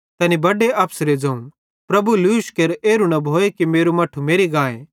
तैनी बड्डे अफसरे ज़ोवं प्रभु लूश केर एरू न भोए कि मेरू मट्ठू मेरि गाए